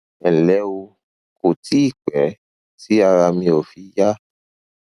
ẹ ǹlẹ o kò tíì pẹ tí ara mi ò fi yá